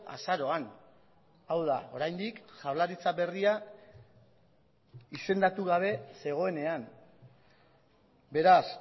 azaroan hau da oraindik jaurlaritza berria izendatu gabe zegoenean beraz